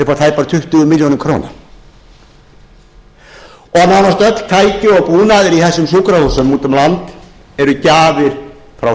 tæpar tuttugu milljónir króna og nánast öll tæki og búnaður í þessum sjúkrahúsum úti um land eru gjafir frá